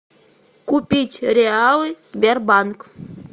купить реалы сбербанк